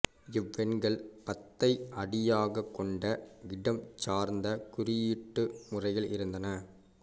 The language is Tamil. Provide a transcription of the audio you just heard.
இவ்வெண்கள் பத்தை அடியாகக் கொண்ட இடம்சார்ந்த குறியீட்டு முறையில் இருந்தன